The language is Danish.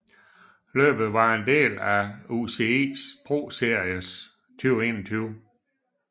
Løbet var en del af UCI ProSeries 2021